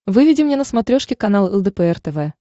выведи мне на смотрешке канал лдпр тв